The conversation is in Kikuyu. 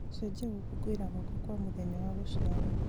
cenjia gũkũngũĩra gwakwa kwa mũthenya wa gũciarwo